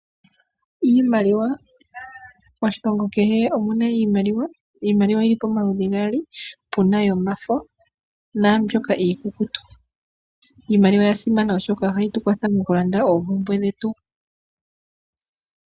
Iimaliwa, moshilongo kehe omu na iimaliwa. Pu na yomafo, naambyoka iikukutu. Iimaliwa oya simana, oshoka oha yi tu kwathele moku landa oopumbwe dhetu.